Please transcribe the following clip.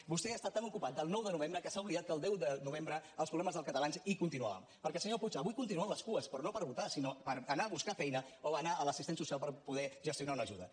vostè ha estat tan ocupat del nou de novembre que s’ha oblidat que el deu de novembre els problemes dels catalans continuaven perquè senyor puig avui continuen les cues però no per votar sinó per anar a buscar feina o anar a l’assistent social per poder gestionar una ajuda